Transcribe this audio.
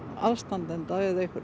aðstandanda